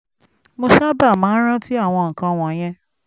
mo sábà máa ń rántí àwọn nǹkan wọ̀nyẹn